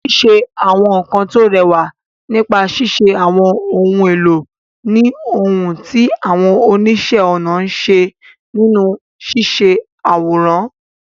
Ṣíṣe àwọn nkan tó rẹwà nípa ṣíṣe àwọn ohun èlò ni ohun tí àwọn oníṣẹ́-ọnà ń ṣe nínú ṣíṣe àwòrán.